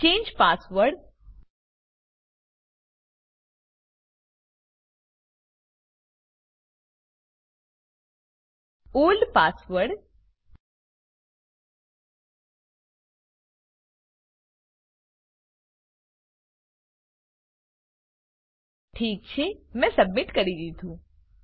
change password old password ઠીક છે મેં સબમીટ કરી દીધું